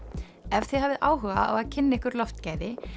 ef þið hafið áhuga á að kynna ykkur loftgæði